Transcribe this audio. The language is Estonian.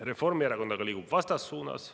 Reformierakond aga liigub vastassuunas.